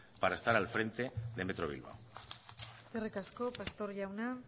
para estar al frente de metro bilbao eskerrik asko pastor jauna